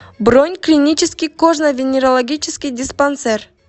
бронь клинический кожно венерологический диспансер